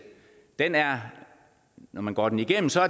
når man går den igennem ser